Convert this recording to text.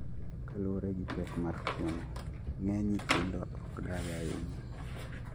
Kaluore gi pek mar tuo no, ng'eny nyithindo ok dagi ahinya